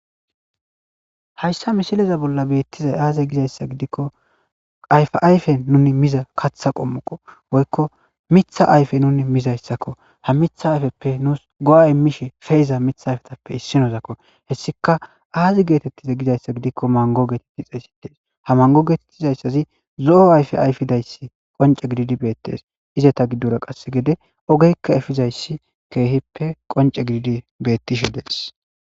Hayssa mishileza bolla beettizay aaze gizayssa gidikko ayfa ayfe nuni miza kaththa qommoqo woykko mitha ayfe nuni mizayssakko ha mitha ayfeppe nuus go'a immishe feiza mitha ayfetappe issinozakko hessika aazi geetettize gizayssa gidikko mango geetettixey sidees ha mango geetettizayssazi zo'o ayfe ayfidayssi qonce gididi beettees izata giddora qasse gede ogeykka efizayssi keehippe qonce gididi bettishi dees.